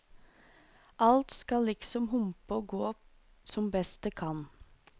Alt skal liksom humpe og gå som best det kan.